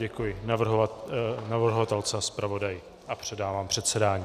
Děkuji navrhovatelce a zpravodaji a předávám předsedání.